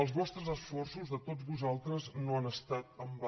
els vostres esforços de tots vosaltres no han estat en va